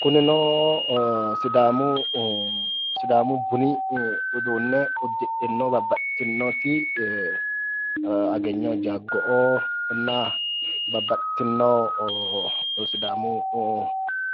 Kunino sidaamu buni uduune udidhino baxitinoti agegno jago na babaxitino